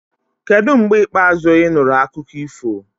Kedu mgbe ikpeazụ ị nụrụ akụkọ ifo?